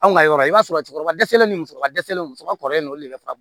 Anw ka yɔrɔ i b'a sɔrɔ cɛkɔrɔba dɛsɛlen ni musokɔrɔba dɛsɛlen musokɔrɔba kɔrɔlen ninnu olu de bɛ fa